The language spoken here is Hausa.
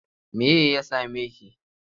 Me ya same ki?